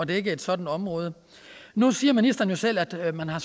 dække et sådant område nu siger ministeren jo selv at at man har